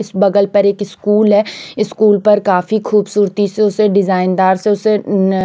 इस बगल पर एक स्कूल है स्कूल पर काफी खूबसूरती से उसे डिज़ाइन दार से उसे न--